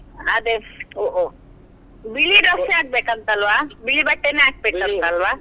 ಅದೇ ಬಿಳಿ dress ಎ ಆಗ್ಬೇಕು ಅಂತ ಅಲ್ವಾ, ಬಿಳಿ ಬಟ್ಟೆನೆ ಹಾಕ್ಬೇಕು ಅಂತ ಅಲ್ವಾ?